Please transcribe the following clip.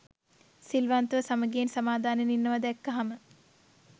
සිල්වන්තව සමඟියෙන් සමාදානයෙන් ඉන්නවා දැක්කහම